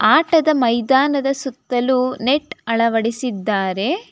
ಆಟದ ಮೈದಾನದ ಸುತ್ತಲೂ ನೆಟ್ ಅಳವಡಿಸಿದ್ದಾರೆ.